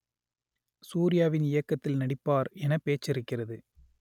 சூர்யாவின் இயக்கத்தில் நடிப்பார் என பேச்சிருக்கிறது